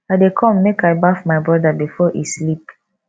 i dey come make i baff my broda before e sleep